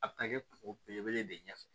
A bɛ taa kɛ kuŋolo belebele de ɲɛfɛ